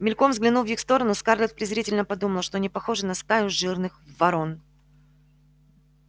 мельком взглянув в их сторону скарлетт презрительно подумала что они похожи на стаю жирных ворон